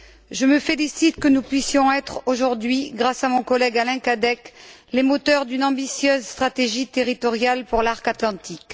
Je me félicite que nous puissions être aujourd'hui, grâce à mon collègue, Alain Cadec, les moteurs d'une ambitieuse stratégie territoriale pour l'Arc atlantique.